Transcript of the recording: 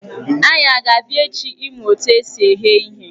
Anyị a ga-abịa echi ịmụ otu esi eghe ihe?